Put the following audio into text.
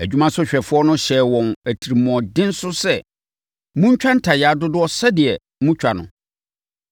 Adwumasohwɛfoɔ no hyɛɛ wɔn atirimuɔden so sɛ, “Montwa ntayaa dodoɔ sɛdeɛ na motwa no.”